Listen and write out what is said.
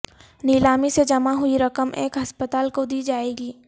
نیلامی سے جمع ہوئی رقم ایک ہسپتال کو دی جائے گی